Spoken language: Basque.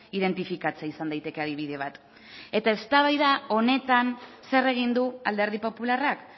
identifikatzea izan daiteke adibide bat eta eztabaida honetan zer egin du alderdi popularrak